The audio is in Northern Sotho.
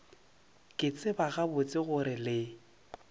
ke tseba gabotse gore le